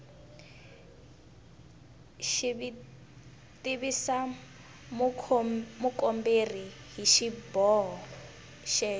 tivisa mukomberi hi xiboho xexo